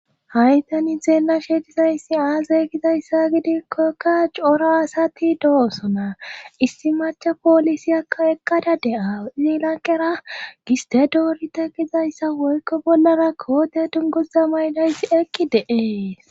ha'i tani zeella sheetizayssi aazay gizayssa gidikkokka cora asati do7osona issi macha poolisi aka eqqada de7a zielankera giste doorite kizayssa woykko bollara koote dungoza mayidyssi eqi de7ees